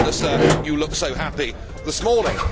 No wonder, Sir, you look so happy this morning.